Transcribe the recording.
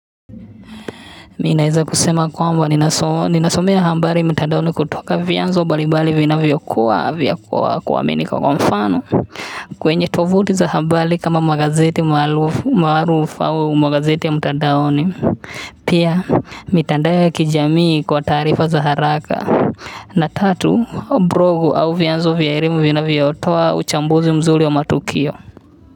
Mimi naeza kusema ya kwamba ninasomea habari mtandaoni kutoka vianzo mbalimbali vinavyokuwa vyakuwa kuaminika kwa mfano kwenye tovuti za habari kama magazeti marufu au magazeti ya mtadaoni pia mitandao ya kijamii kwa taarifa za haraka na tatu blogu au vianzo vya elimu vinavyotoa uchambuzi mzuri wa matukio.